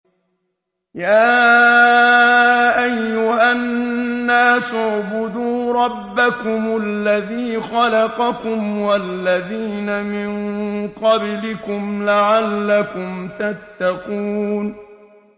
يَا أَيُّهَا النَّاسُ اعْبُدُوا رَبَّكُمُ الَّذِي خَلَقَكُمْ وَالَّذِينَ مِن قَبْلِكُمْ لَعَلَّكُمْ تَتَّقُونَ